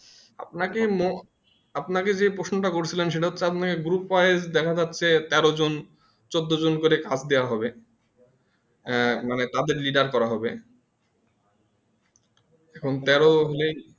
আপনা কে যে মো আপনা কেযে প্রশ্নটা করেছিলাম সেটা হচ্ছে আপনি group wise দেখা যাচ্ছে তেরো জন চোদ্দো জন করে কাজ দিয়া হবে মানে তাদের lider করা হবে এক্ষন তেরো হলেই